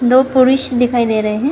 दो पुरुष दिखाई दे रहे हैं।